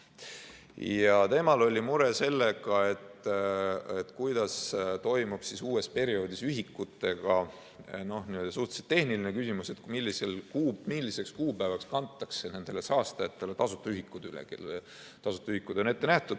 Ja temal oli mure, et mis toimub uuel perioodil ühikutega, suhteliselt tehniline küsimus, et milliseks kuupäevaks kantakse nendele saastajatele tasuta ühikud üle, kellele tasuta ühikud on ette nähtud.